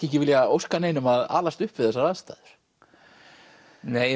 ekki vilja óska neinum að alast upp við þessar aðstæður nei